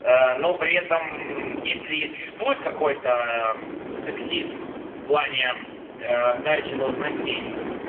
но при этом если я существует какой-то сексизм в плане а дачи должностей